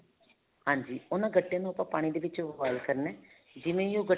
ਹਾਂਜੀ ਉਹਨਾ ਗੱਟਿਆਂ ਨੂੰ ਆਪਾਂ ਪਾਣੀ ਦੇ ਵਿੱਚ boil ਕਰਨਾ ਹੈ ਜਿਵੇਂ ਹੀ ਉਹ